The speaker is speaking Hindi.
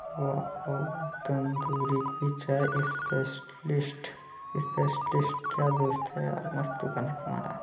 वाओ तंदूरी की चाय स्पेशलिस्ट स्पेशलिस्ट क्या दोस्त हैं यार मस्त बना हैं तुम्हारा--